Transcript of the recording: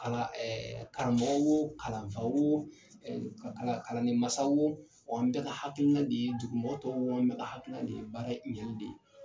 Kalan karamɔgɔ wo, kalanfa wo, kalandenmasa wo, an bɛ ka hakilina de ye, dugumɔgɔ tɔw, an bɛ ka hakilina de ye, baara ɲɛli de ye.